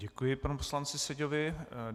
Děkuji panu poslanci Seďovi.